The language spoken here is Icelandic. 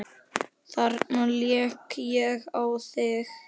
Þarna lék ég á þig!